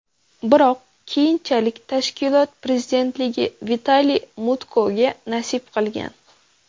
Biroq keyinchalik tashkilot prezidentligi Vitaliy Mutkoga nasib qilgan.